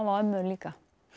ömmur líka